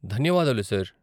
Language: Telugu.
ధన్యవాదాలు, సార్ .